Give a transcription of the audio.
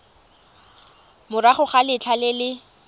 morago ga letlha le le